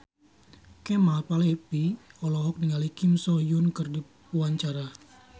Kemal Palevi olohok ningali Kim So Hyun keur diwawancara